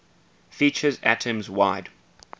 features atoms wide